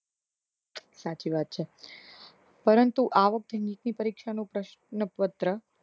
સાચી વાત છ પરંતુ આ વખતે નીટ ની પરીક્ષા નું પશ્નપત્ર